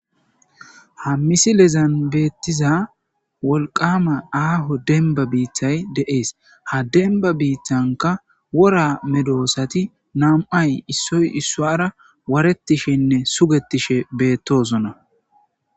ha misilezan beettiza wolqama aaho denba biithay de'ese ha denba biittanka wora medoosati nam7ay issoy issuara waarettishenne sugetishe bettoosona